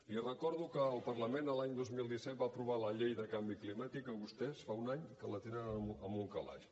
li recordo que el parlament l’any dos mil disset va aprovar la llei de canvi climàtic que vostès fa un any que la tenen en un calaix